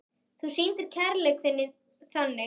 Þú sýndir kærleik þinn þannig.